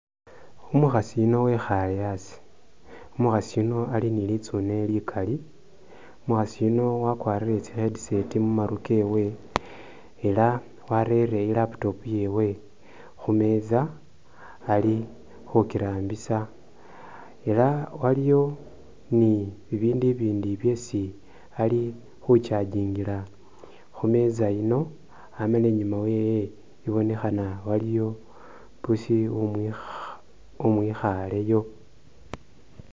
Umukhasi yuno wekhale asi ,umukhasi yuno Ali ni litsune likali ,umukhasi yuno wakwarire tsi headset mumaru kewe ela warere i'laptop yewe khumeza Ali khukirambisa ,ela waliyo ni bibindu ibindi byesi Ali khu charging'ila khu meza yino, amala inyuma yewe ibonekhana waliyo pusi umwikha umwikhaleyo